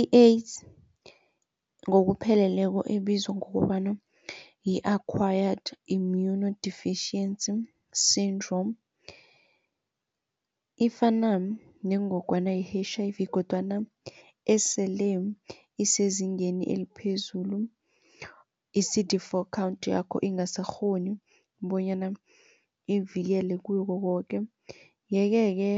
I-AIDS ngokupheleleko ebizwa ngokobana yi-Acquired Immunodeficiency Sydrome ifana nengogwana ye-H_I_V kodwana esele isezingeni eliphezulu i-C_D for count yakho ingasakghoni bonyana ivikele kukokoke. Yeke-ke